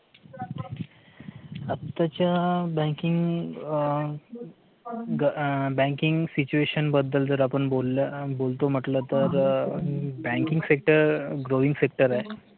आताच्या banking situation बद्दल जर आपण बोलल ना बोलतो म्हटलं तर banking sector growing sector आहे